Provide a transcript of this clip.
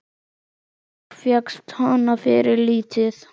Og fékkst hana fyrir lítið!